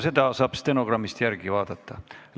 Seda saab stenogrammist järele vaadata.